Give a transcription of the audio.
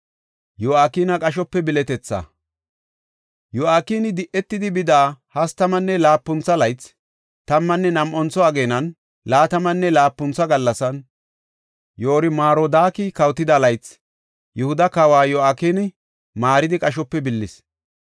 Yo7akini di7etidi bida hastamanne laapuntho laythan, tammanne nam7antho ageenan, laatamanne laapuntho gallasan, Yoor-Marodaaki kawotida laythi, Yihuda kawa Yo7akina maaridi qashope billis.